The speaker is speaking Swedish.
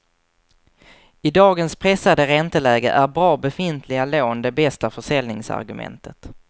I dagens pressade ränteläge är bra befintliga lån det bästa försäljningsargumentet.